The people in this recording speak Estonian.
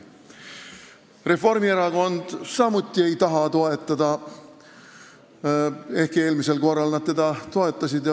Reformierakond ei taha teda samuti toetada, ehkki eelmisel korral nad teda toetasid.